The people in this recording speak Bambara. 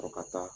Fo ka taa